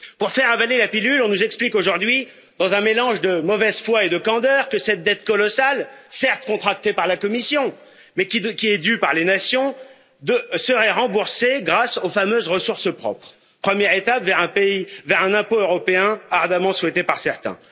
Pour faire avaler la pilule, on nous explique aujourd'hui, dans un mélange de mauvaise foi et de candeur, que cette dette colossale, certes contractée par la Commission mais qui est due par les nations, serait remboursée grâce aux fameuses ressources propres, première étape vers un impôt européen ardemment souhaitée par certains.